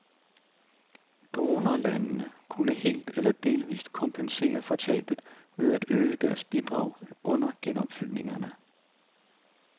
Donorlandene kunne helt eller delvist kompensere for tabet ved at øge deres bidrag under genopfyldningerne.